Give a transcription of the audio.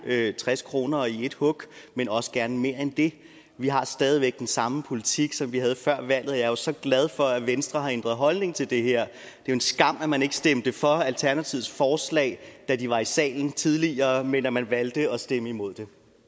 tres kroner i ét hug men også gerne mere end det vi har stadig væk den samme politik som vi havde før valget er jo så glad for at venstre har ændret holdning til det her jo en skam at man ikke stemte for alternativets forslag da de var i salen tidligere men at man valgte at stemme imod